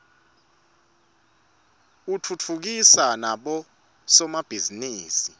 utfutfukisa nabo somabhizinisi